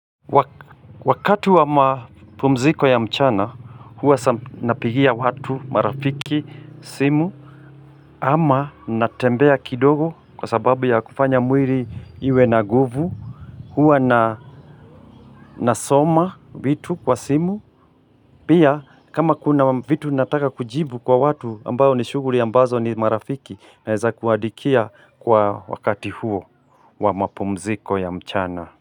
Wakati wa mapumziko ya mchana huwa napigia watu marafiki simu ama natembea kidogo kwa sababu ya kufanya mwili iwe na nguvu huwa na nasoma vitu kwa simu Pia kama kuna vitu nataka kujibu kwa watu ambao ni shughuli ambazo ni marafiki naeza kuandikia kwa wakati huo wa mapumziko ya mchana.